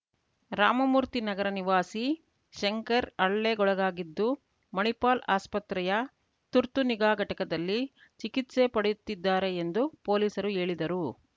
ರಾಮಮೂರ್ತಿ ನಗರ ನಿವಾಸಿ ಶಂಕರ್‌ ಹಲ್ಲೆಗೊಳಗಾಗಿದ್ದು ಮಣಿಪಾಲ್‌ ಆಸ್ಪತ್ರೆಯ ತುರ್ತು ನಿಗಾಘಟಕದಲ್ಲಿ ಚಿಕಿತ್ಸೆ ಪಡೆಯುತ್ತಿದ್ದಾರೆ ಎಂದು ಪೊಲೀಸರು ಹೇಳಿದರು